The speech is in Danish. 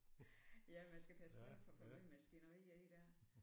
Ja man skal passe på man ikke får for mange maskinerier ind der